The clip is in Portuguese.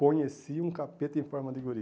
Conheci um capeta em forma de guri.